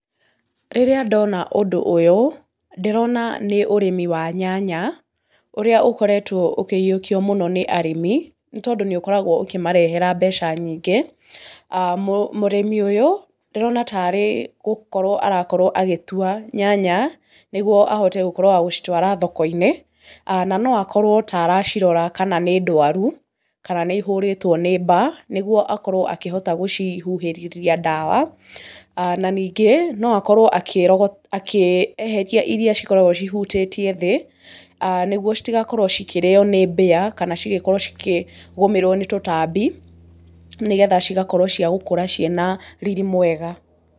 Rĩrĩa ndona ũndũ ũyũ, ndĩrona nĩ ũrĩmi wa nyanya, ũrĩa ũkoretwo ũkĩyũkio mũno nĩ arĩmi, nĩ tondũ nĩ ũkoragwo ũkĩmarehera mbeca nyingĩ. Mũrĩmi ũyũ, ndĩrona tarĩ gũkorwo arakorwo agĩtua nyanya nĩguo ahote gũkorwo wa gũcitwara thoko-inĩ na no akorwo ta aracirora kana nĩ ndwaru, kana nĩ ihũrĩtwo nĩ mbaa, nĩguo akorwo akĩhota gũcihuhĩrithia ndawa, na ningĩ no akorwo akĩeheria iria cikoragwo cihutĩtie thĩĩ, nĩ guo citagakorwo cikĩrĩo nĩ mbĩa, kana cigĩkorwo cikĩgũmĩrwi nĩ tutambi, nĩgetha cigakorwo ciagũkũra ciĩna riri mwega.